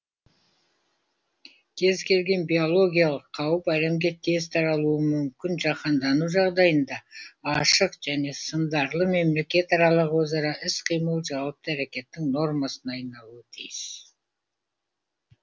кез келген биологиялық қауіп әлемге тез таралуы мүмкін жаһандану жағдайында ашық және сындарлы мемлекетаралық өзара іс қимыл жауапты әрекеттің нормасына айналуы тиіс